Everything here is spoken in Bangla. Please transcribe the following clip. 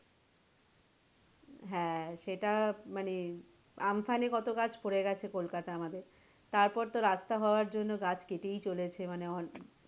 হ্যাঁ সেটা মানে আমফানে কতো গাছ পড়ে গেছে কোলকাতায় আমাদের তারপরে তো রাস্তা হওয়ার জন্য গাছ কেটেই চলেছে মানে,